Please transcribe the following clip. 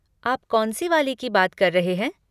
आप कौन सी वाली की बात कर रहे हैं?